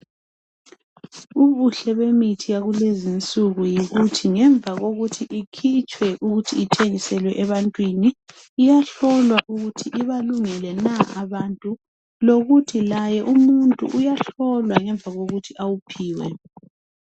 ubuhle bemithi yakulezinsuku yikuthi ngemva kokuthi ikhitshwe ithengiselwe ebantwini iyahlolwa ukuthi ibalungele na abantu lokuthi laye umuntu uyahlolwa ngemuva kokuthi awuphiwe